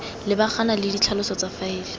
lebagana le ditlhaloso tsa faele